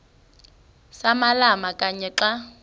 samalama kanye xa